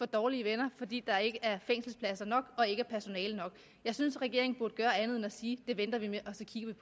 dårlige venner fordi der ikke er fængselspladser nok og ikke er personale nok jeg synes at regeringen burde gøre andet end at sige det venter vi med